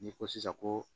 N'i ko sisan ko